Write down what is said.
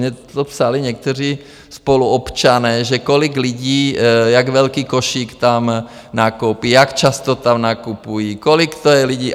Mně to psali někteří spoluobčané, že kolik lidí, jak velký košík tam nakoupí, jak často tam nakupují, kolik to je lidí.